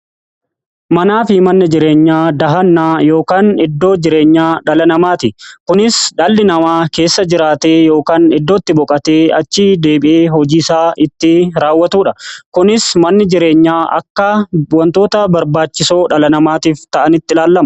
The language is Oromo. manni jireenyaa dahannaa yookaan iddoo jireenyaa dhala namaati. kunis dhalli namaa keessa jiraatee yookaan iddootti boqatee achii deebi'ee hojiisaa itti raawwatuudha. kunis manni jireenyaa akka wantoota barbaachisoo dhala namaatiif ta'anitti ilalaama.